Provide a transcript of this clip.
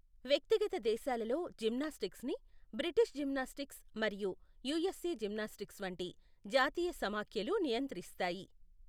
వ్యక్తిగత దేశాలలో, జిమ్నాస్టిక్స్ని, బ్రిటిష్ జిమ్నాస్టిక్స్ మరియు యుఎస్ఎ జిమ్నాస్టిక్స్ వంటి జాతీయ సమాఖ్యలు నియంత్రిస్తాయి.